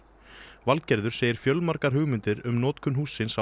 Valgerður segir fjölmargar hugmyndir um notkun hússins hafa